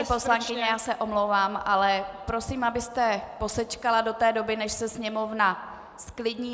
Paní poslankyně, já se omlouvám, ale prosím, abyste posečkala do té doby, než se sněmovna zklidní.